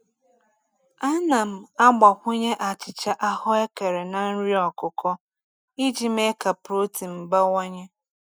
Ana m agbakwunye achịcha ahụekere na nri ọkụkọ iji mee ka protein bawanye.